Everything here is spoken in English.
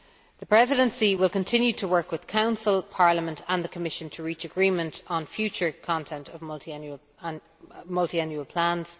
The Presidency will continue to work with the Council, Parliament and the Commission to reach agreement on the future content of Multiannual Plans.